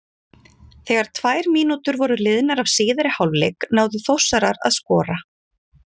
Þegar tvær mínútur voru liðnar af síðari hálfleik náðu Þórsarar að skora.